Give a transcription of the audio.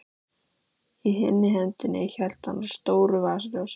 Í hinni hendinni hélt hann á stóru vasaljósi.